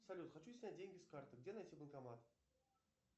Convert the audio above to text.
салют хочу снять деньги с карты где найти банкомат